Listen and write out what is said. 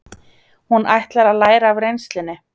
Hún ætlar að læra af reynslunni.